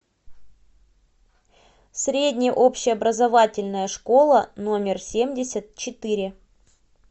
средняя общеобразовательная школа номер семьдесят четыре